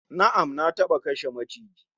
Na'am, Na taba kashe maciji